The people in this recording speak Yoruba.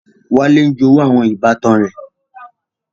Wale ń jowú àwọn ìbátan rẹ.